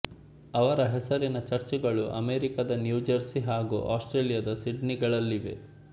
ಅವರ ಹೆಸರಿನ ಚರ್ಚುಗಳು ಅಮೆರಿಕದ ನ್ಯೂಜೆರ್ಸಿ ಹಾಗೂ ಆಸ್ಟ್ರೇಲಿಯಾದ ಸಿಡ್ನಿಗಳಲ್ಲಿವೆ